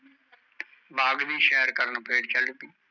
ਬਾਗ ਦੀ ਸ਼ੇਰ ਕਰਨ ਫਰ ਚਲ ਪਯੀ